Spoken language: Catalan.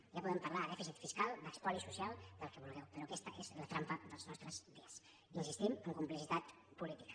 ja podem parlar de dèficit fiscal d’espoli social del que vulgueu però aquesta és la trampa dels nostres dies hi insistim amb complicitat política